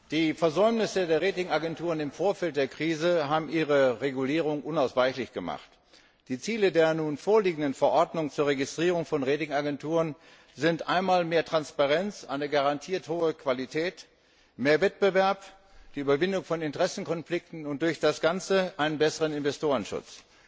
Frau Präsidentin! Die Versäumnisse der Ratingagenturen im Vorfeld der Krise haben ihre Regulierung unausweichlich gemacht. Die Ziele der nun vorliegenden Verordnung für die Registrierung von Ratingagenturen sind einmal mehr Transparenz, eine garantierte hohe Qualität, mehr Wettbewerb, die Überwindung von Interessenkonflikten und dadurch ein besserer Investorenschutz.